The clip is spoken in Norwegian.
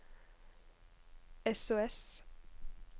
sos